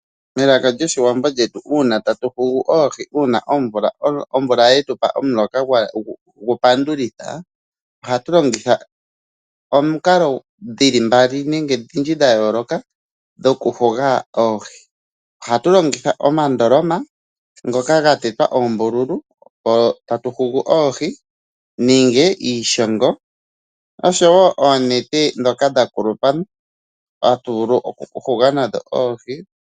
Elaka lyoshiwambo lyetu uuna tatu hugu oohi uuna omvula yetupa omuloka gu pandulitha ,oha tu longitha omikalo dhili mbali nenge odhindji dha yooloka dhoku huga oohi. Oha tu longitha omandoloma ngoka ga tetwa oombululu tatu hugu oohi nenge iishongo oshowo oonete ndhoka dha kulupa hatu vulu oku huga nadho oohi.